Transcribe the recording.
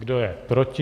Kdo je proti?